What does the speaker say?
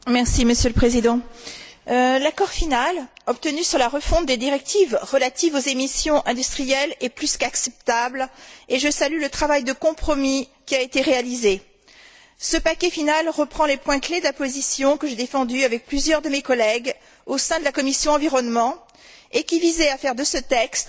Monsieur le Président, l'accord final obtenu sur la refonte des directives relatives aux émissions industrielles est plus qu'acceptable, et je salue le travail de compromis qui a été réalisé. Ce paquet final reprend les points clés de la position que j'ai défendue avec plusieurs de mes collègues au sein de la commission de l'environnement, et qui visait à faire de ce texte